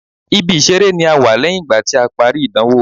Ibi ìṣeré ni a wà lẹ́yìn ìgbà tí a parí ìdánwò.